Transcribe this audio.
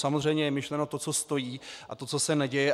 Samozřejmě je myšleno to, co stojí, a to, co se neděje.